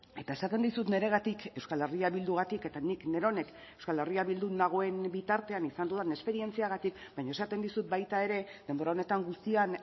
eta esaten dizut niregatik euskal herria bildugatik eta nik neronek euskal herria bildun nagoen bitartean izan dudan esperientziagatik baina esaten dizut baita ere denbora honetan guztian